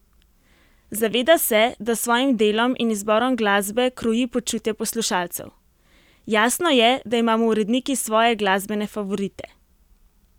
Zaveda se, da s svojim delom in izborom glasbe kroji počutje poslušalcev: "Jasno je, da imamo uredniki svoje glasbene favorite.